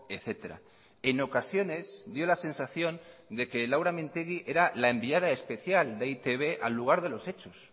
etcétera en ocasiones dio la sensación de que laura mintegi era la enviada especial de e i te be al lugar de los hechos